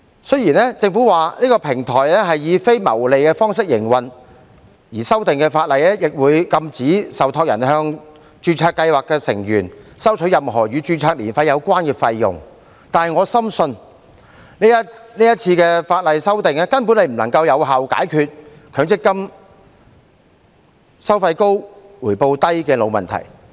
雖然政府表示中央平台是以非牟利的方式營運，而修訂後的法例亦會禁止受託人向註冊計劃的成員收取任何與註冊年費有關的費用，但我深信這次法例的修訂根本不能有效解決強制性公積金計劃收費高、回報低的"老問題"。